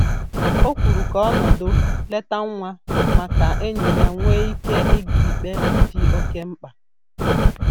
O kwuru ka ọ nọdụ leta nwa ma ka enyi ya nwee ike ịga ikpe dị oke mkpa